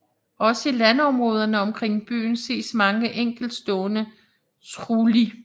Også i landområderne omkring byen ses mange enkeltstående trulli